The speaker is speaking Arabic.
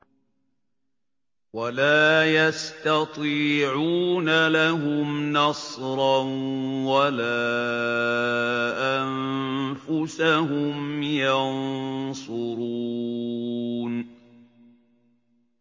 وَلَا يَسْتَطِيعُونَ لَهُمْ نَصْرًا وَلَا أَنفُسَهُمْ يَنصُرُونَ